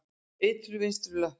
Eitruð vinstri löpp.